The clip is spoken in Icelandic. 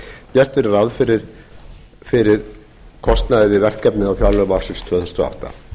gert verði ráð fyrir kostnaði við verkefnið á fjárlögum ársins tvö þúsund og átta